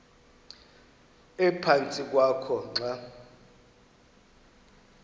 ephantsi kwakho xa